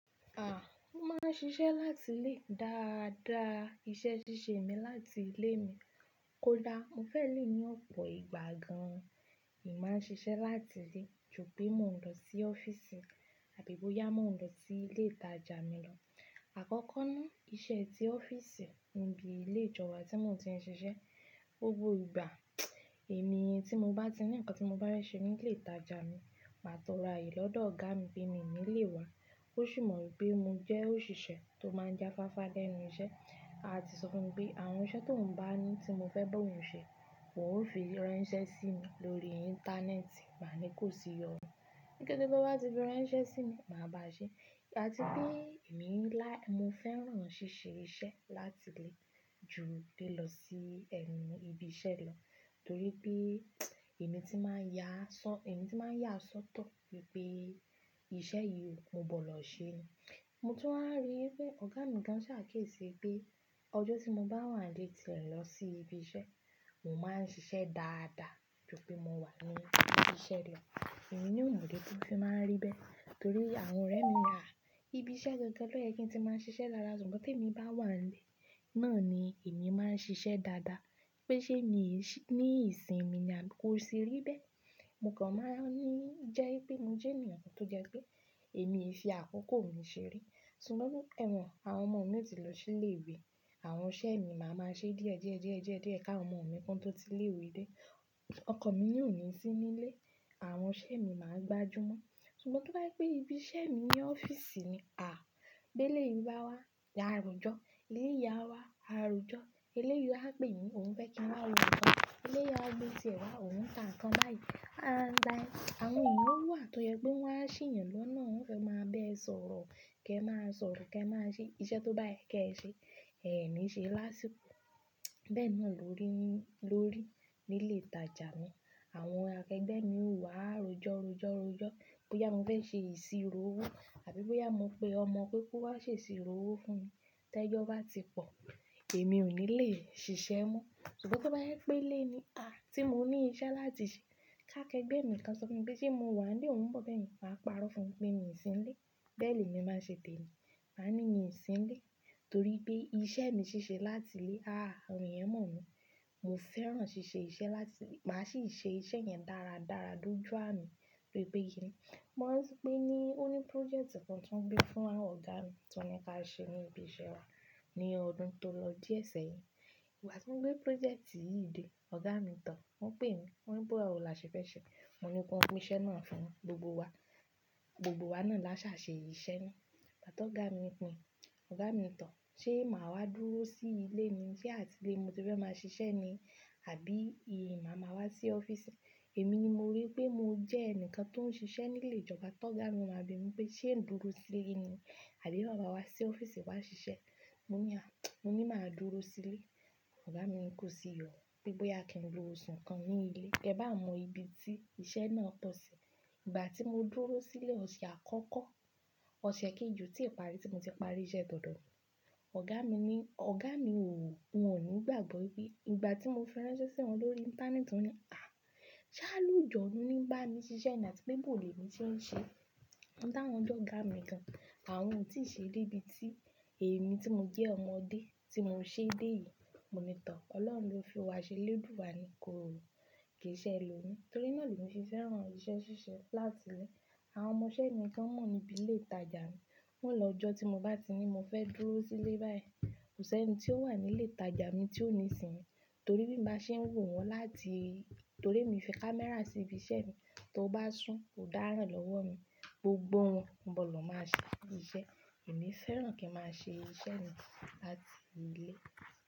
À, mo máa ń ṣiṣẹ́ láti ilé dáadáa. Iṣẹ́ ṣíṣe mi láti ilé mi kó dá. Mo fẹ́ lè ní ọ̀pọ̀ ìgbà gan, èmi máa ń ṣiṣẹ́ láti ilé ju bí mo ń lọ sí ọ́fíìsì àbí bóyá mo ń lọ sí ilé ìtajà mi lọ. Àkọ́kọ́ ná, iṣẹ́ tí ọ́fíìsì ni ibi ilé ìjọba tí mo ti ń ṣiṣẹ́. Gbogbo ìgbà, èmi tí mo bá ti ní ǹkan tí mo bá rẹ̀ ṣe ní ilé ìtajà mi, màá tọrọ ayélọ́dọ̀ ọ̀gá mi pé mi ò ní lè wá. Ó sì mọ̀ pé mo jẹ́ òṣìṣẹ́ tó máa ń jáfáfá lénu iṣẹ́, àti sọ fún mi pé àwọn iṣẹ́ tó ń bá ní tí mo fẹ́ bá òun ṣe, òun ó fi ránṣẹ́ sí mi lórí íńtánẹ́ẹ̀tì. Màá ní kó sì yọnu. Kete tó bá ti fi ránṣẹ́ sí mi, màá bá a ṣe. Àti bí èmi ń lá-- Mo fẹ́ràn ṣíṣe iṣẹ́ láti ilé ju li lọ sí ẹnu ibi iṣẹ́ lọ torí pé èmi ti máa ń yá ṣó-- èmi ti máa ń yà sọ́tọ̀ wípé iṣẹ́ yìí mo bọ̀ lọ ṣe ni. Mo tún wá rí pé ọ̀gá mi gan sà ki e ṣi pé ọjọ́ tí mo bá wà nílé ti n lọ sí ibi iṣẹ́, mo máa ń ṣiṣẹ́ dáadáa ju pé mo wà ní ibi iṣẹ́ lọ. Èmi na ò mọ̀ idi tí o fí máa ń rí bẹ́ẹ̀ torí àwọn ọ̀rẹ́ mi wà ibi iṣẹ́ gangan lo ye kí n ti máa ń ṣiṣẹ́ dáadáa ṣùgbọ́n te mi bá wa ni nílé náà ni èmi máa ń ṣiṣẹ́ dáadáa. Pé ṣé mi ní ìsìn mi ni a kò ṣe rí bẹ́ẹ̀. Mo kàn máa ń ní jẹ́ pé mo jẹ́ ènìyàn kan tó jẹ́ pé èmi ki fi àkókò mi ṣeré. Sugbọn e mon àwọn ọmọ mi yóò ti lọ sí ilé ìwé, àwọn iṣẹ́ mi màá máa ṣe díẹ̀ díẹ̀ díẹ̀ díẹ̀ díẹ̀ ká àwọn ọmọ mi kó tó ti ilé ìwé dé. Ọkọ̀ mi na óò ní sí nílé, àwọn iṣẹ́ mi màá gbajúmọ̀. Ṣùgbọ́n tó bá je pé ibi iṣẹ́ mi ní ọ́fíìsì ni, à, bí e lé yi bá wá, á àròjọ́, e lé yi awá, àròjọ́, e leyi á pè mí òun fẹ́ kí n wá wo ǹkan, e le yi á mu tí ẹ wá òun ń ta ǹkan báyìí, a ń like. Àwọn ènìyàn wà tó yẹ pé wọ́n á ṣe yàn lọ́nà, wọ́n fẹ́ máa be e sọ̀rọ̀, kí ẹ máa sọ̀rọ̀ kẹ se máa ṣe iṣẹ́ tó bá yẹ kí ẹ ṣe. Ẹ̀mi ṣe lásìkò. Bẹ́ẹ̀ náà ló rí ló rí nílé ìtajà mi. Àwọn akẹgbẹ́ mi ó wá àròjọ̀ ọrọ̀jọ̀ ọrọ̀jọ́ bóyá mo fẹ́ ṣe ìṣirò owó àbí bóyá mo pe ọmọ pé kó wá ṣe ìṣirò owó fún mi. Tẹ́jọ́ bá ti pọ̀, èmi ò ní lè ṣiṣẹ́ mọ́. Ṣùgbọ́n tó bá yẹ pé ilé ni aa tí mo ní iṣẹ́ láti ṣe ká akẹgbẹ́ mi kan sọ fún mi pé ṣé mo wà nílé, òun ń bọ̀ bẹ́ẹ̀ yen, màá parọ́ fún un pé mi ò sí nílé. Bẹ́ẹ̀ ni èmi máa ṣe tẹ́ẹ̀ mi. Màá ní mi ò sí nílé torí pé iṣẹ́ mi ṣíṣe láti ilé. À, àwọn èyàn mọ̀ mí. Mo fẹ́ràn ṣíṣe iṣẹ́ láti ilé. Màá sì ṣe iṣẹ́ yẹn dáradára doju ami de bi pé kíni. Mo ranti pé ní ó ní prójẹ́ẹ̀tì kan tí wọ́n gbé fún àwọn ọ̀gá mi tí wọ́n ní kí a ṣe ní ibi iṣẹ́ wa ní ọdún tó lọ díẹ̀ sẹ́yìn. Ìgbà tí wọ́n gbé projẹ́ẹ̀tì yìí dé, ọ̀gá mi tọ̀, wọ́n pè mí, wọ́n ní bawo la ṣe fẹ́ ṣe. Mo ní ki wọ́n ko iṣẹ́ náà fún gbogbo wa. Gbogbo wa ná là ṣà ṣe iṣẹ́ na. Bàti ọ̀gá mi pin, ọ̀gá mi tọ̀, ṣé màá wá dúró sí ilé ni sé àti ilé ni mo ti fẹ́ máa ṣiṣẹ́ ni àbí ìyè màá ma wá sí ọ́fíìsì? Èmi ni mo rí pé mo jẹ́ ẹnìkan tó ń ṣiṣẹ́ nílé ìjọba tó ọ̀gá mi máa bẹ mí pé ṣé n dúró sílé ni àbí máa ma wá sí ọ́fíìsì wá ṣiṣẹ́? Mo ní à mo ní màá dúró sí ilé. Ọ̀gá mi ni kò sì iyọ̀nu pé bóyá kí n lo oṣù kan ní ilé. Ke bá mọ ibi tí iṣẹ́ náà pọ̀ sí. Ìgbà tí mo dúró sílé ọ̀ṣẹ̀ àkọ́kọ́, ọ̀ṣẹ̀ kejì o tí parí tí mo ti parí iṣẹ́ tòdò mi. Ọ̀gá mi ní, ọ̀gá mi ò, wọn ò ní gbàgbọ́ wípé ìgbà tí mo fi ise ránṣẹ́ sí wọn lórí íńtánẹ́ẹ̀tì wọ́n ní, à, ṣé à lu jan lu ní bá mi ṣiṣẹ́ nì àti pé bọ̀lẹ̀ mi tí ń ṣe. Won ta wọn je ọ̀gá mi gan. Àwọn ò tí ì ṣe dé ibi tí èmi tí mo jẹ́ ọmọdé tí mo ń ṣe dé yìí. Mo ní tọ̀, Ọlọ́run ló fi wá ṣe lèdùú à ni kò ki ṣe è lómi torí náà ni mo ṣe fẹ́ràn iṣẹ́ ṣíṣe láti ilé. Àwọn ọmọṣẹ́ mi gan mọ̀ níbi ilé ìtajà mi, wọn lọ ọjọ́ tí mo bá ti ní mo fẹ́ dúró sílé báyìí. Kò sí ẹni tí ó wà nílé ìtajà mi tí ò ní sìn mi torí bí mo bá ṣe ń wò wọ́n láti-- torí èmi fi kámẹ́rà sí ibi iṣẹ́ mi, tó bá sún ò dáran lọ́wọ́ mi. Gbogbo wọn bọ̀ lọ máa ṣe iṣẹ́. Èmi fẹ́ràn kí ń máa ṣe iṣẹ́ mi láti ilé.